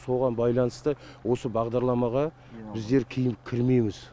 соған байланысты осы бағдарламаға біздер кейін кірмейміз